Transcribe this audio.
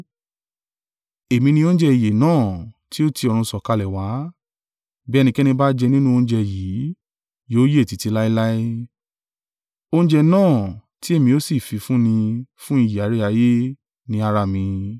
Èmi ni oúnjẹ ìyè náà tí ó ti ọ̀run sọ̀kalẹ̀ wá, bí ẹnikẹ́ni bá jẹ nínú oúnjẹ yìí, yóò yè títí láéláé, oúnjẹ náà tí èmi ó sì fi fún ni fún ìyè aráyé ni ara mi.”